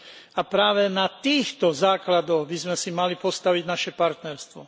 A práve na týchto základoch by sme si mali postaviť naše partnerstvo.